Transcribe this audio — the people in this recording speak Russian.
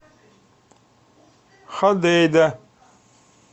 ходейда